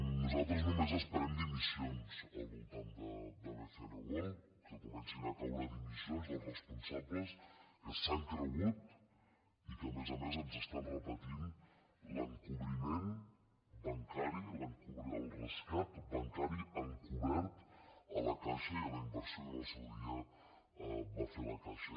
nosaltres només esperem dimissions al voltant de bcn world que comencin a caure dimissions dels responsables que s’han cregut i que a més a més ens estan repetint l’encobriment bancari el rescat bancari encobert a la caixa i a la inversió que en el seu dia va fer la caixa